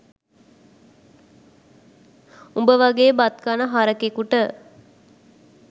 උබ වගේ බත් කන හරකෙකුට